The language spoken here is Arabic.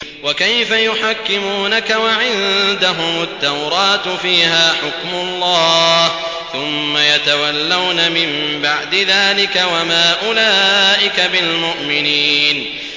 وَكَيْفَ يُحَكِّمُونَكَ وَعِندَهُمُ التَّوْرَاةُ فِيهَا حُكْمُ اللَّهِ ثُمَّ يَتَوَلَّوْنَ مِن بَعْدِ ذَٰلِكَ ۚ وَمَا أُولَٰئِكَ بِالْمُؤْمِنِينَ